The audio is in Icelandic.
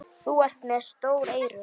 Þú ert með stór eyru.